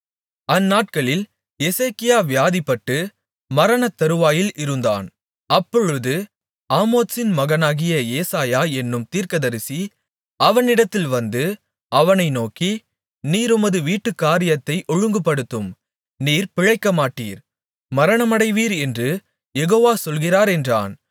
அந்நாட்களில் எசேக்கியா வியாதிப்பட்டு மரணத்தருவாயிலிருந்தான் அப்பொழுது ஆமோத்சின் மகனாகிய ஏசாயா என்னும் தீர்க்கதரிசி அவனிடத்தில் வந்து அவனை நோக்கி நீர் உமது வீட்டுக்காரியத்தை ஒழுங்குபடுத்தும் நீர் பிழைக்கமாட்டீர் மரணமடைவீர் என்று யெகோவா சொல்கிறார் என்றான்